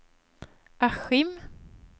Askim